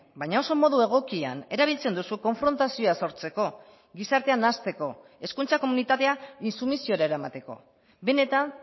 baina oso modu egokian erabiltzen duzu konfrontazioa sortzeko gizartea nahasteko hezkuntza komunitatea intsumisiora eramateko benetan